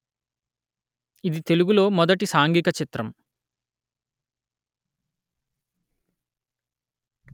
ఇది తెలుగులో మొదటి సాంఘిక చిత్రం